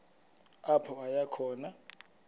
apho aya khona